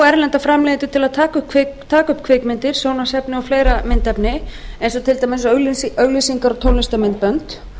erlenda framleiðendur til að taka upp kvikmyndir sjónvarpsefni og fleira myndefni eins og til dæmis auglýsinga og tónlistarmyndbönd